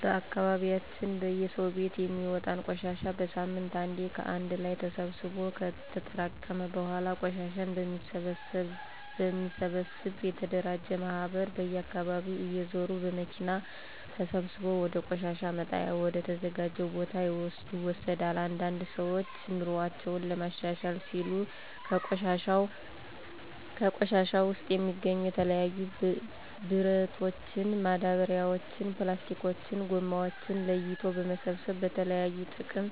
በአካባቢያችን በየሰው ቤት የሚወጣን ቆሻሻ በሳምንት አንዴ ከአንድ ላይ ተሰብስቦ ከተጠራቀመ በኃላ ቆሻሻን በሚሰበሰብ የተደራጀ ማህበር በየአካባቢው እየዞረ በመኪና ተሰብስቦ ወደ ቆሻሻ መጣያ ወደ ተዘጀው ቦታ ይወሰዳል። አንዳንድ ሰዎች ኑሮአቸውን ለማሻሻል ሲሉ ከቆሻሻው ውስጥ የሚገኙ የተለያዩ ብረቶችን፣ ማዳበሪያዎችን፣ ፕላስቲኮችን(ጎማዎችን) ለይቶ በመሰብሰብ ለተለያዩ ጥቅም